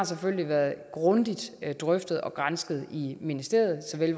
selvfølgelig har været grundigt drøftet og gransket i ministeriet såvel i